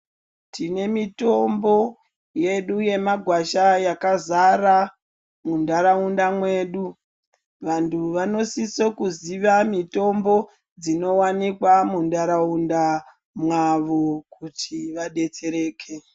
Tine mitombo yedu yemagwasha yakazara muntaraunda mwedu. Vantu vanosise kuziva mitombo dzinowanikwa muntaraunda mwavo kuti vadetsereke.